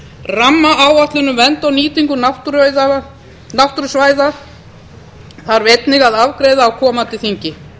rammaáætlun um vernd og nýtingu náttúrusvæða þarf einnig að afgreiða á komandi þingi